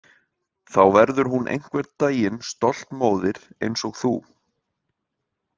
Þá verður hún einhvern daginn stolt móðir eins og þú